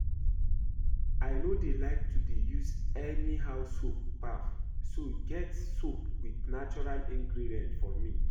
I no dey like to dey use anyhow soap baff so get soap with natural ingredients for me